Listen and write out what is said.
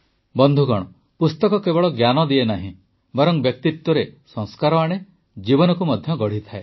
ବନ୍ଧୁଗଣ ପୁସ୍ତକ କେବଳ ଜ୍ଞାନ ଦିଏ ନାହିଁ ବରଂ ବ୍ୟକ୍ତିତ୍ୱରେ ସଂସ୍କାର ଆଣେ ଜୀବନକୁ ମଧ୍ୟ ଗଢ଼େ